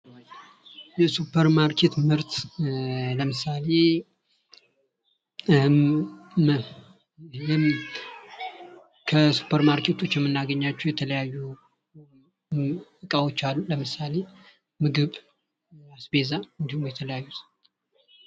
የሱፐር ማርኬት ምርት ለምሳሌ፦ ከስፐር ማርኬቶች የሚናገኛቸው የተለያዩ ዕቃዎች አሉ። ለምሳሌ፦ ምግብ አስቤዛ እንዲሁም የተለያዩ...